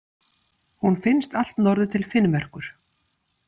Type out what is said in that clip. Hún finnst allt norður til Finnmerkur.